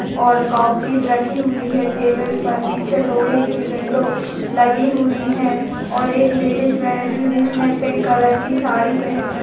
और सीट रखी हुई है टेबल पर पीछे लोहे की विंडो लगी हुई हैऔर एक लेडिज बैठी है जिसने पिंक कलर की साड़ी पेहन रखी ---